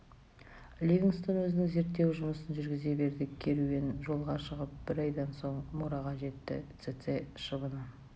ливингстон өзінің зерттеу жұмысын жүргізе берді керуен жолға шығып бір айдан соң мурға жетті цеце шыбыны